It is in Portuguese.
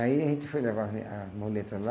Aí a gente foi levar a a muleta lá,